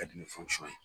Ka di ni ye